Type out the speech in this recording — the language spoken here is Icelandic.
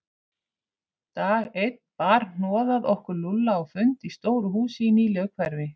Dag einn bar hnoðað okkur Lúlla á fund í stóru húsi í nýlegu hverfi.